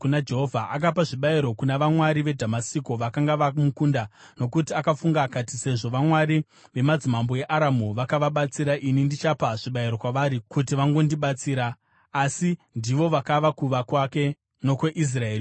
Akapa zvibayiro kuna vamwari veDhamasiko vakanga vamukunda; nokuti akafunga akati, “Sezvo vamwari vemadzimambo eAramu vakavabatsira ini ndichapa zvibayiro kwavari kuti vangondibatsira.” Asi ndivo vakava kuwa kwake nokweIsraeri yose.